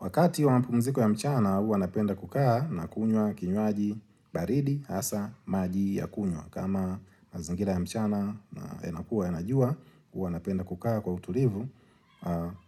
Wakati wa mapumziko ya mchana huwa napenda kukaa na kunywa kinywaji baridi hasa maji ya kunywa. Kama mazingira ya mchana yanakuwa yana jua huwa napenda kukaa kwa utulivu